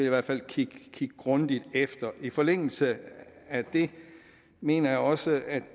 i hvert fald kigge grundigt efter i forlængelse af det mener jeg også at